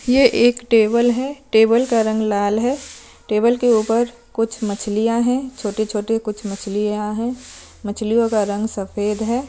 यह एक टेबल है टेबल का रंग लाल है टेबल के ऊपर कुछ मछलियां है छोटी-छोटी कुछ मछलियां है मछलियों का रंग सफेद है।